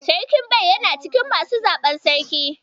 Sarkin Bai yana cikin masu zaɓar Sarki.